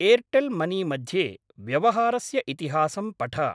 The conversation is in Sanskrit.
एर्टेल् मनी मध्ये व्यवहारस्य इतिहासं पठ।